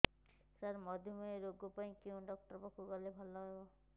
ସାର ମଧୁମେହ ରୋଗ ପାଇଁ କେଉଁ ଡକ୍ଟର ପାଖକୁ ଗଲେ ଭଲ ହେବ